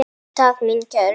Takk mín kæru.